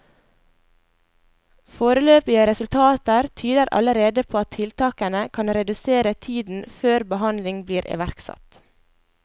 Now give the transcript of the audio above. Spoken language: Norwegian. Foreløpige resultater tyder allerede på at tiltakene kan redusere tiden før behandling blir iverksatt.